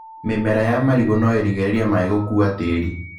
Mĩmera ya marigũ no ĩrigĩrĩrie maĩ gũkua tĩri.